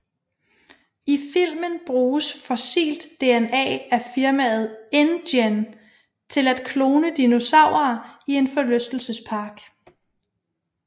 I filmen bruges fossilt DNA af firmaet InGen til at klone dinosaurer i en forlystelsespark